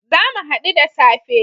Zamu hadu da safe